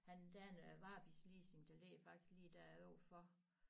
Han der er noget varebilsleasing der ligger faktisk lige dér overfor